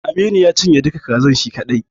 Aminu ya cinye duka kazar shi kaɗai.